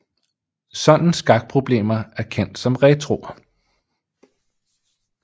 Sådan skakproblemer er kendt som retroer